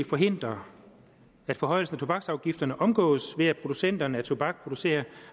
forhindre at forhøjelsen af tobaksafgifterne omgås ved at producenterne af tobak reducerer